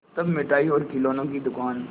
तब मिठाई और खिलौने की दुकान